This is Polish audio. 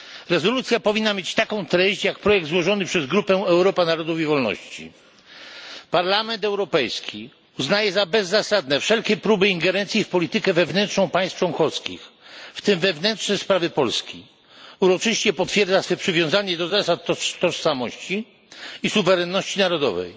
Rezolucja powinna mieć taką treść, jak projekt złożony przez grupę Europa Narodów i Wolności Parlament Europejski uznaje za bezzasadne wszelkie próby ingerencji w politykę wewnętrzną państw członkowskich, w tym wewnętrzne sprawy Polski, uroczyście potwierdza swe przywiązanie do zasad tożsamości i suwerenności narodowej,